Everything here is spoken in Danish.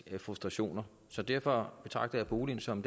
frustrationer så derfor betragter jeg boligen som